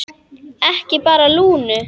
Ekki bara Lúnu.